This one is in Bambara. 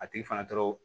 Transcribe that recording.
A tigi fana dɔrɔn